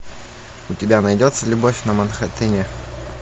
у тебя найдется любовь на манхэттене